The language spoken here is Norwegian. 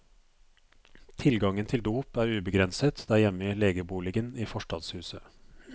Tilgangen til dop er ubegrenset der hjemme i legeboligen i forstadshuset.